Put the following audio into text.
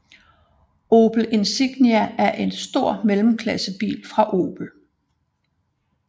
Opel Insignia er en stor mellemklassebil fra Opel